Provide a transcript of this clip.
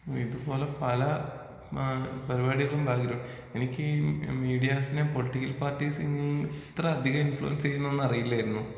ഇതുപോലെ പല ഏഹ് പരിപാടികളും *നോട്ട്‌ ക്ലിയർ* എനിക്ക് മീഡിയാസിനെ പൊളിറ്റിക്കൽ പാർട്ടിസിന് ഇത്രേം അധികം ഇൻഫ്ലുൻസ് ചെയ്യുമെന്ന് അറിയില്ലായിരുന്നു.